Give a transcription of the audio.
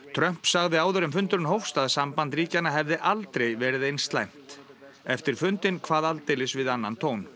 Trump sagði áður en fundurinn hófst að samband ríkjanna hefði aldrei verið eins slæmt eftir fundinn kvað aldeilis við annað tón